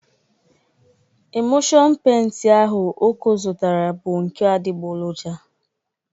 Emụlshon peinti ahụ Oko zụtara bụ nke adịgboloja.